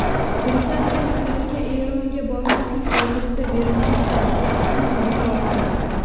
Britaniyaliklarga Eronga bormaslik to‘g‘risida berilgan tavsiya qisman bekor qilindi.